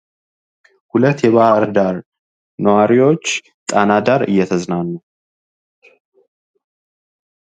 ሁለት የባህርዳር ኗሪዎች ጣና ዳር እየተዝናኑ